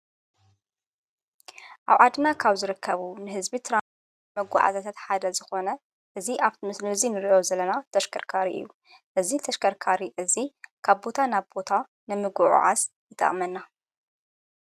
ኣብ ዓድና ካብ ዝረከቡ ንሕዝቢ ትራ መጓዓዝያታት ሓደ ዝኾነ እዚ ኣብቲ ምስእዙይ ንርእዮ ዘለና ተሽከርካሪ እዩ እዝ ተሽከርካሪ እዙ ካብቦታ ናብ ቦታ ንምጕዕዓዝ ይጠቅመና።